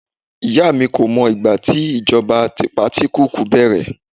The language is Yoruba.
ìyá mi ko mọ ìgbà tí ìjọba tipatikuuku bẹrẹ